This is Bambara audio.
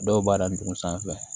Dɔw b'a dadugu sanfɛ